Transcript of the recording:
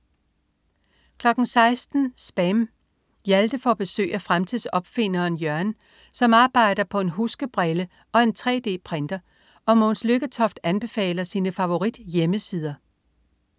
16.00 SPAM. Hjalte får besøg af fremtidsopfinderen Jørgen, som arbejder på en huskebrille og en 3D-printer og Mogens Lykketoft anbefaler sine favorithjemmesider